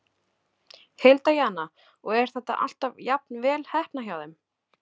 Hilda Jana: Og er þetta alltaf jafnvel heppnað hjá þeim?